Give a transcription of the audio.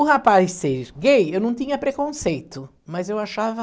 O rapaz ser gay, eu não tinha preconceito, mas eu achava...